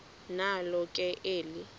nalo ke eli